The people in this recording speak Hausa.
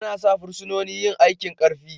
Ana sa fursunonin yin aikin Karfi.